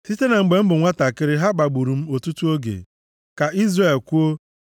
Site na mgbe m bụ nwantakịrị, ha kpagburu m ọtụtụ oge, ka Izrel kwuo.